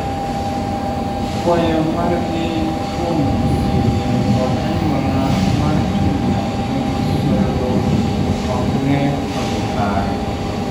kwayo margi kuom osipe kod anyuola mar timo nigi solo ok ne odhi kare